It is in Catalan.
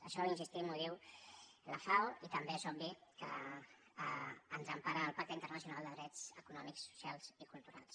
això hi insistim ho diu la fao i també és obvi que ens empara el pacte internacional de drets econòmics socials i culturals